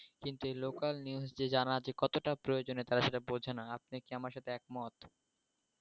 কিন্তু এই local news যে জানা যে কতটা প্রয়োজন তারা সেটা বুজে না। আপনি কি আমার সাথে একমত